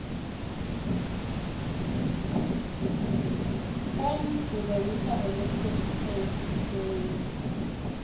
when do the winter olympics take place